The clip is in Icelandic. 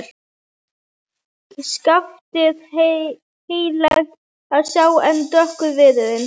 Skaftið heillegt að sjá en dökkur viðurinn.